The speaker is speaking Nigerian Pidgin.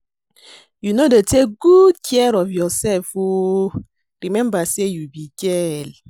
You no dey take good care of yourself oo, remember say you be girl